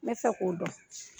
N bɛ se k'o dɔn